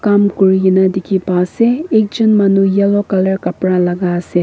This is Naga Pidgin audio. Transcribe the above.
kam kuri kena dikhi pai ase ekjun manu yellow color kapura lagai ase.